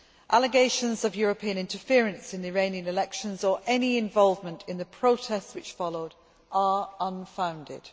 Allegations of European interference in the Iranian elections or any involvement in the protests which followed are unfounded.